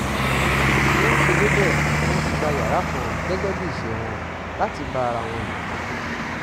bí wọ́n ṣe débẹ̀ ni wọ́n ti gba yàrá kan gẹ́gẹ́ bíi iṣẹ́ wọn láti bá ara wọn lò pọ̀